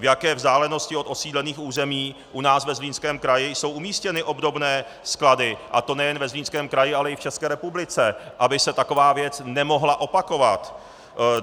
V jaké vzdálenosti od osídlených území u nás ve Zlínském kraji jsou umístěny obdobné sklady, a to nejen ve Zlínském kraji, ale i v České republice, aby se taková věc nemohla opakovat.